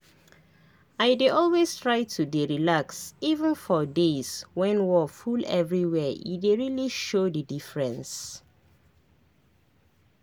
i dey always try to dey relax even for days when wor full everywhere e dey really show the diffrence